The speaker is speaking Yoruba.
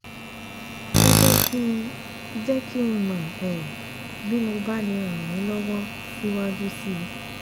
Ẹ jẹ́ kí jẹ́ kí n mọ̀ um bí mo bá lè ràn yín lọ́wọ́ síwájú sí i